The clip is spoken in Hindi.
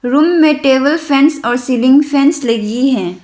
रूम में टेबल फैंस और सीलिंग फैंस लगी है।